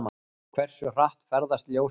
Hversu hratt ferðast ljósið?